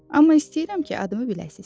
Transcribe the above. Amma istəyirəm ki, adımı biləsiniz.